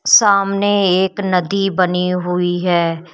सामने एक नदी बनी हुई है।